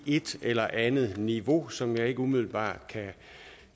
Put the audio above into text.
et eller andet niveau som jeg ikke umiddelbart